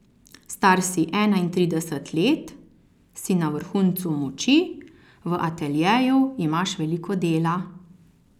Star si enaintrideset let, si na vrhuncu moči, v ateljeju imaš veliko dela.